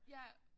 Ja